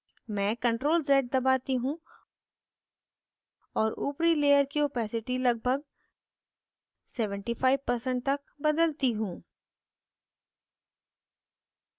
मैं ctrl + z दबाती हूँ और ऊपरी layer की opacity लगभग 75% तक बदलती हूँ